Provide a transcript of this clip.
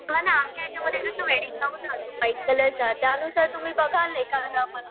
आमच्या हेच्यामध्ये जसं वेडिंग गाऊन व्हाईट कलरचा त्या नुसार तुम्ही बघाल